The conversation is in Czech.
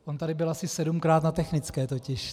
On tady byl asi sedmkrát na technické totiž.